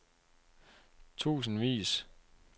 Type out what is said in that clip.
tusindvis